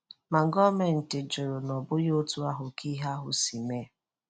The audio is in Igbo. Ma, gọọmenti jụrụ na ọ bụghị otú ahụ ka ihe ahụ si mee.